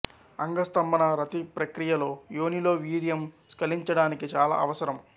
అంగస్తంభన రతి ప్రక్రియలో యోనిలో వీర్యం స్కలించడానికి చాలా అవసరం